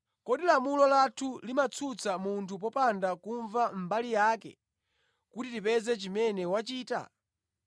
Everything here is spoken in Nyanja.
“Kodi lamulo lathu limatsutsa munthu popanda kumva mbali yake kuti tipeze chimene wachita?”